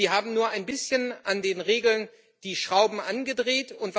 Sie haben nur ein bisschen an den Regeln die Schrauben angedreht.